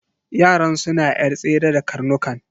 Yaran suna yar tsere da karnukan.